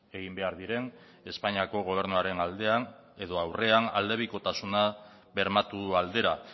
egin behar diren espainiako gobernuaren aldean edo aurrean aldebikotasuna bermatu aldera